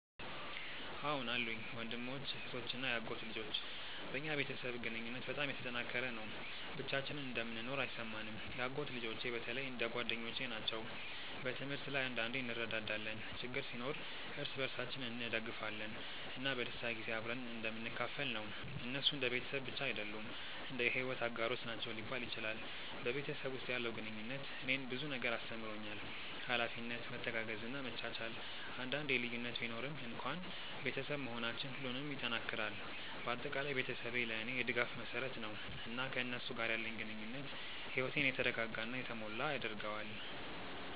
አዎን አሉኝ፤ ወንድሞች፣ እህቶች እና የአጎት ልጆች። በእኛ ቤተሰብ ግንኙነት በጣም የተጠናከረ ነው፣ ብቻችንን እንደምንኖር አይሰማንም። የአጎት ልጆቼ በተለይ እንደ ጓደኞቼ ናቸው። በትምህርት ላይ አንዳንዴ እንረዳዳለን፣ ችግር ሲኖር እርስ በርሳችን እንደግፋለን፣ እና በደስታ ጊዜ አብረን እንደምንካፈል ነው። እነሱ እንደ ቤተሰብ ብቻ አይደሉም፣ እንደ የሕይወት አጋሮች ናቸው ሊባል ይችላል። በቤተሰብ ውስጥ ያለው ግንኙነት እኔን ብዙ ነገር አስተምሮኛል፤ ኃላፊነት፣ መተጋገዝ እና መቻቻል። አንዳንዴ ልዩነት ቢኖርም እንኳን ቤተሰብ መሆናችን ሁሉንም ይጠናክራል። በአጠቃላይ ቤተሰቤ ለእኔ የድጋፍ መሰረት ነው፣ እና ከእነሱ ጋር ያለኝ ግንኙነት ሕይወቴን የተረጋጋ እና የተሞላ ያደርገዋል።